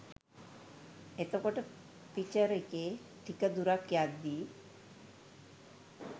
එතකොට පිචර් එකේ ටික දුරක් යද්දි